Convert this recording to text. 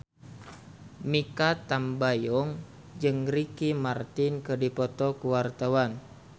Mikha Tambayong jeung Ricky Martin keur dipoto ku wartawan